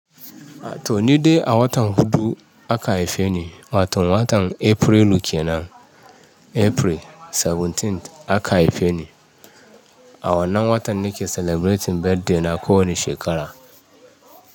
To ni dai a watan hudu aka haife ni, wato watan Aprilu kenan. April 17th aka haife ni. A wannan watan nake celebrating birthday na ko wane shekara.